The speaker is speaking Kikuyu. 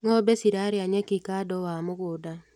Ngombe ciraria nyeki kado wa mũgũnda.